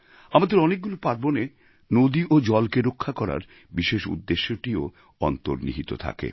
আমাদের অনেকগুলি পার্বণে নদী এবং জলকে রক্ষা করার বিশেষ উদ্দেশ্যটিও অন্তর্নিহিত থাকে